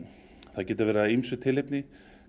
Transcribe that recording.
það getur verið af ýmsu tilefni